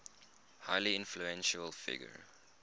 highly influential figure